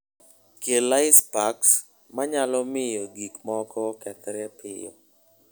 Kel ice packs ma nyalo miyo gik moko okethre piyo.